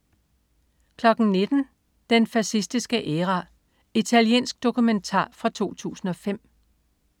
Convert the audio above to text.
19.00 Den fascistiske æra. Italiensk dokumentar fra 2005